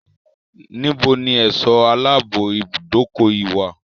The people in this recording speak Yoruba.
Níbo ni ẹ̀sọ́ aláàbò ibùdókọ̀ yíi wá?